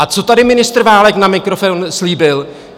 A co tady ministr Válek na mikrofon slíbil?